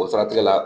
O siratigɛ la